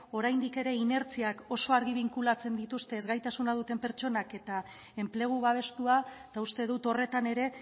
oraindik ere inertziak oso argi binkulatzen dituzte ezgaitasunak duten pertsonak eta enplegu babestua eta uste dut horretan ere